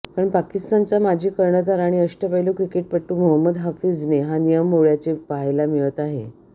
पण पाकिस्तानचा माजी कर्णधार आणि अष्टपैलू क्रिकेटपटू मोहम्मद हाफिझने हा नियम मोड्याचे पाहायला मिळत आहे